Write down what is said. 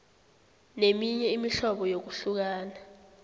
neminye imihlobo yokuhlukana